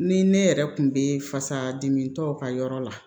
Ni ne yɛrɛ kun bɛ fasa dimi tɔw ka yɔrɔ la